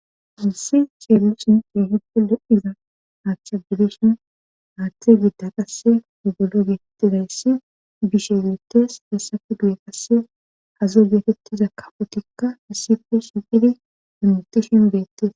issi ceellu sinte hidde lo7iza aachcha bidishin aaththe gidda qasse ogolo geetettizayssi bishe beettes hessafe guye qasse hazo geetettiza kafotikka hassipe shiqidi immutishin beettes